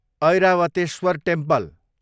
Airavatesvara temple